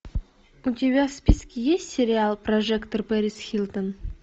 у тебя в списке есть сериал прожекторперисхилтон